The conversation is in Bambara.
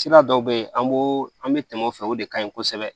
Sira dɔw bɛ yen an b'o an bɛ tɛmɛ o fɛ o de ka ɲi kosɛbɛ